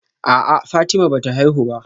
A'a Fatima bata haihu ba